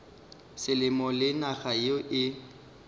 selemo le naga yeo e